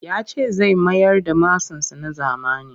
Ya ce zai mayar da masansa na zamani